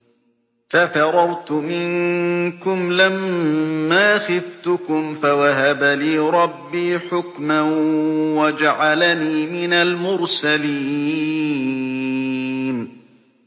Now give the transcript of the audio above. فَفَرَرْتُ مِنكُمْ لَمَّا خِفْتُكُمْ فَوَهَبَ لِي رَبِّي حُكْمًا وَجَعَلَنِي مِنَ الْمُرْسَلِينَ